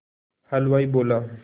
हलवाई बोला